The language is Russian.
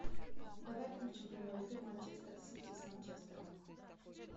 давай включим прямой эфир манчестер сити с манчестером